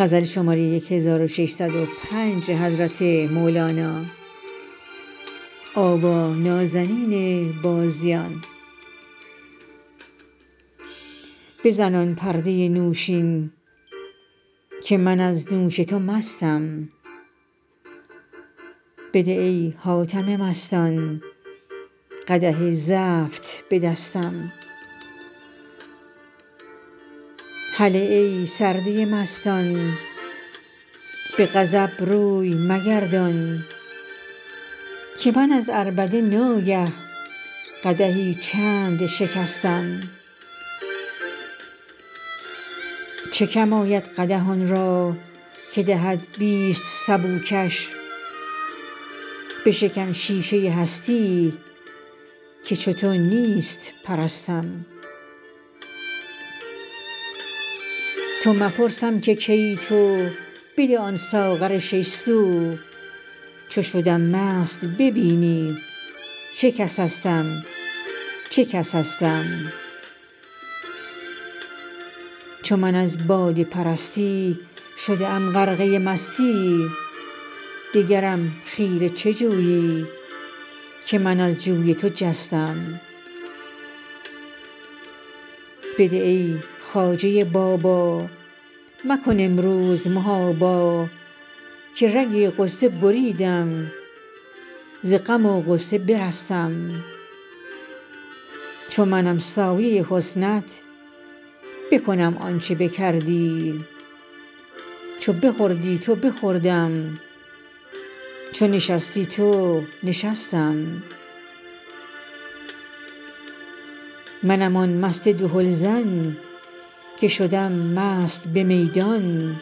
بزن آن پرده نوشین که من از نوش تو مستم بده ای حاتم مستان قدح زفت به دستم هله ای سرده مستان به غضب روی مگردان که من از عربده ناگه قدحی چند شکستم چه کم آید قدح آن را که دهد بیست سبوکش بشکن شیشه هستی که چو تو نیست پرستم تو مپرسم که کیی تو بده آن ساغر شش سو چو شدم مست ببینی چه کسستم چه کسستم چو من از باده پرستی شده ام غرقه مستی دگرم خیره چه جویی که من از جوی تو جستم بده ای خواجه بابا مکن امروز محابا که رگ غصه بریدم ز غم و غصه برستم چو منم سایه حسنت بکنم آنچ بکردی چو بخوردی تو بخوردم چو نشستی تو نشستم منم آن مست دهلزن که شدم مست به میدان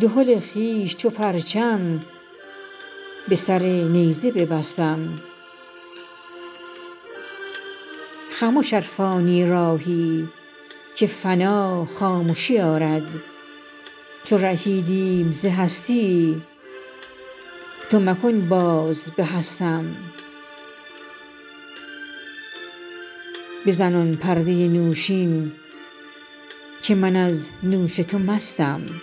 دهل خویش چو پرچم به سر نیزه ببستم خمش ار فانی راهی که فنا خامشی آرد چو رهیدیم ز هستی تو مکن باز به هستم